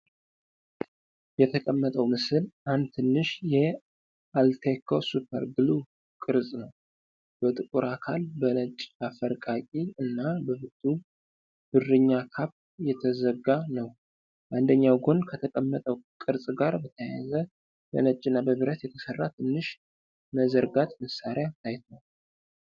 የተቀመጠው ምስል አንድ ትንሽ የ“ALTECO SUPER GLUE” ቅርጽ ነው። በጥቁር አካል፣ በነጭ አፈርቃቂ እና በብርቱ ብርኛ ካፕ የተዘጋ ነው። በአንደኛው ጎን ከተቀመጠው ቅርጽ ጋር በተያያዘ በነጭ እና በብረት የተሰራ ትንሽ መዘርጋት መሳሪያ ታይቷል።